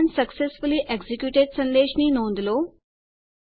command successfully executed સંદેશ ની નોંધ લો